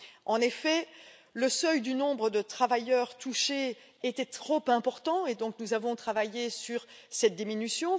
En effet, le seuil du nombre de travailleurs touchés était trop important et nous avons travaillé sur cette diminution.